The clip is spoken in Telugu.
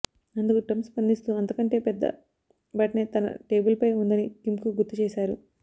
అందుకు ట్రంప్ స్పందిస్తూ అంతకంటే పెద్ద బటనే తన టేబుల్ పై ఉందని కిమ్కు గుర్తుచేశారు